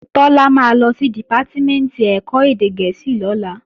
Tọ́lá máa lọ sí Dìpátímẹ̀ntì ẹ̀kọ́ èdè gẹ̀ẹ́sì lọ́la